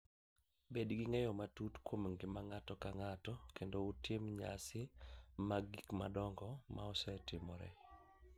Bed gi ng’eyo matut kuom ngima ng’ato ka ng’ato, kendo utim nyasi mag gik madongo ma osetimore.